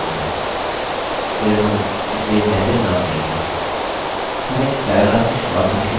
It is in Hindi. फिर हम इसे message नाम देंगे